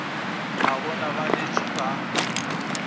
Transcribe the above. a bona ba letše ba